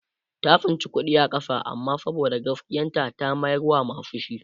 ta tsinci kuɗi a ƙasa amma saboda gaskiyar ta ta mayar wa masu shi